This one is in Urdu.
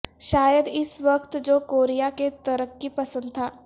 شاید اس وقت جو کوریا کے ترقی پسند تھا